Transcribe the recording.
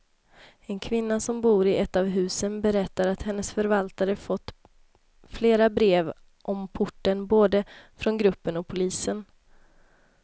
En kvinna som bor i ett av husen berättar att hennes förvaltare fått flera brev om porten, både från gruppen och polisen.